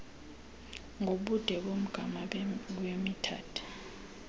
ngobude bomgama metered